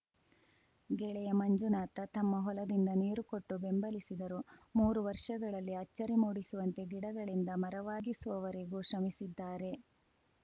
ಗೆಳೆಯ ಮಂಜುನಾಥ ತಮ್ಮ ಹೊಲದಿಂದ ನೀರು ಕೊಟ್ಟು ಬೆಂಬಲಿಸಿದರು ಮೂರು ವರ್ಷಗಳಲ್ಲಿ ಅಚ್ಚರಿ ಮೂಡಿಸುವಂತೆ ಗಿಡಗಳಿಂದ ಮರವಾಗಿಸುವವರೆಗೂ ಶ್ರಮಿಸಿದ್ದಾರೆ